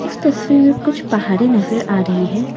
इस तस्वीर में कुछ पहाडें नजर आ रही हैं।